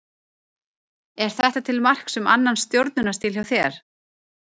Er þetta til marks um annan stjórnunarstíl hjá þér?